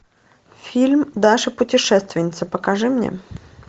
фильм даша путешественница покажи мне